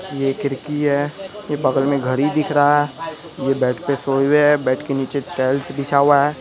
ये खिड़की है ये बगल मे घरी दिख रहा है ये बेड पे सोये हुए हैं बेड के नीचे टाइल्स बीछा हुआ है|